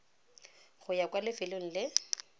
go ya kwa lefelong le